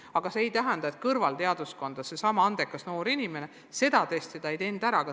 Aga see ei tähenda, et kui mõni noor inimene seda testi ära ei teinud, siis ta kõrvalteaduskonda sisse ei või saada.